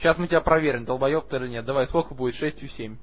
сейчас мы тебя проверим долбаёб ты или нет сколько будет шестью семь